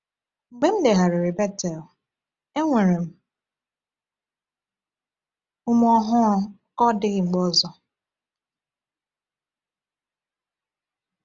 Mgbe m legharịrị Bethel, enwere m ume ọhụrụ ka ọ dịghị mgbe ọzọ.